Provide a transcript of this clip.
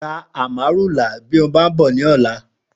Rà Àmárúlá bi ó bà n bò lòlã